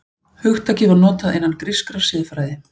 Hugtakið var notað innan grískrar siðfræði.